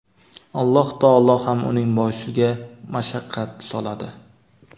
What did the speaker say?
Alloh taolo ham uning boshiga mashaqqat soladi.